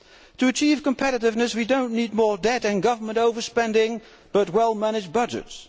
To achieve competitiveness, we do not need more debt and government over spending, but well managed budgets.